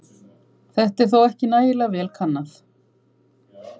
Þetta er þó ekki nægilega vel kannað.